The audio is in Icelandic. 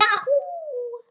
Ha, jú.